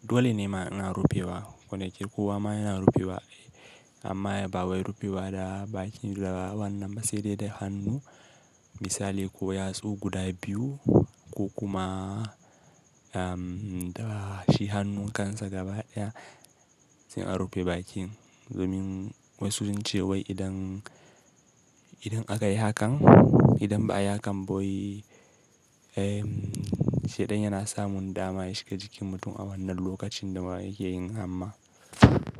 Dole ne ma ina rufewa, ƙo da ke kowa ma yana rufewa. Amma ba wai rufewa da bakin da wannan ba sai dai da hannu. Misali ko yatsu guda biyu ko kuma, am, da shi hannu kansa gaba ɗaya sai a rufe bakin. Domin wasu sun ce wai idan, idan aka yi hakan, idan ba a yi hakan ba wai, eh, shedan yana samun dama ya shiga jikin mutum a wannan lokacin da ma yake yin hamma.